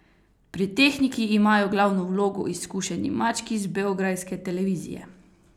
Pri tehniki imajo glavno vlogo izkušeni mački z beograjske televizije.